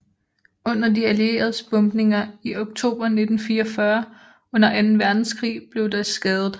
Under de allieredes bombninger i oktober 1944 under anden verdenskrig blev det skadet